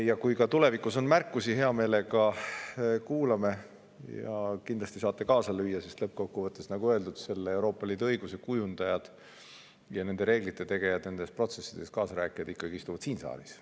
Ja kui ka tulevikus on märkusi, siis hea meelega kuulame ja kindlasti saate kaasa lüüa, sest lõppkokkuvõttes, nagu öeldud, Euroopa Liidu õiguse kujundajad ja nende reeglite tegijad, nendes protsessides kaasarääkijad istuvad ikkagi siin saalis.